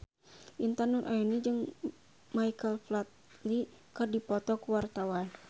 Intan Nuraini jeung Michael Flatley keur dipoto ku wartawan